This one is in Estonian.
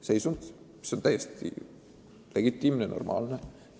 Kui on, siis see on täiesti legitiimne ja normaalne.